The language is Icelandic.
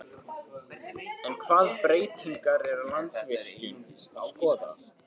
En hvaða breytingar er Landsvirkjun að skoða?